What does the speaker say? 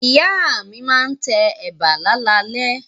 Ìyá mi máa tẹ ẹ̀bà láalalẹ́.